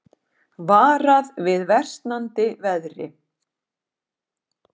Varað við versnandi veðri